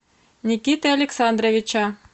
никиты александровича